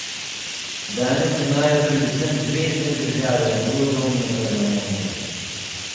Danes imajo predvsem zvezne države dvodomne parlamente.